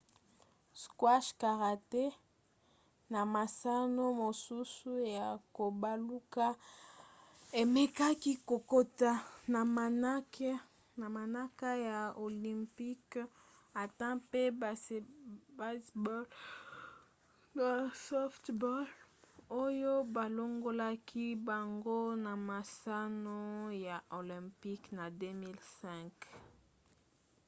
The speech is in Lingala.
squash karaté na masano mosusu ya kobaluka emekaki kokota na manaka ya olympique ata mpe baseball na softball oyo balongolaki bango na masano ya olympique na 2005